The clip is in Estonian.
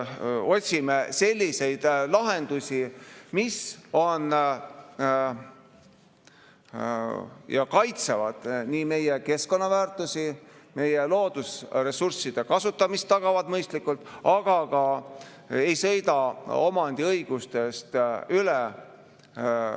Otsime selliseid lahendusi, mis kaitsevad meie keskkonnaväärtusi ja tagavad mõistliku loodusressursside kasutamise, aga ei sõida samas omandiõigustest üle.